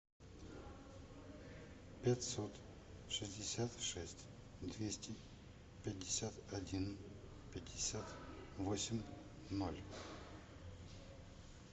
пятьсот шестьдесят шесть двести пятьдесят один пятьдесят восемь ноль